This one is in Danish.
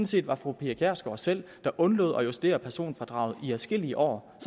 set var fru pia kjærsgaard selv der undlod at justere personfradraget i adskillige år og